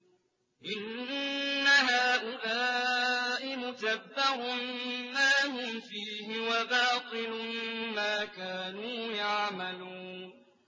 إِنَّ هَٰؤُلَاءِ مُتَبَّرٌ مَّا هُمْ فِيهِ وَبَاطِلٌ مَّا كَانُوا يَعْمَلُونَ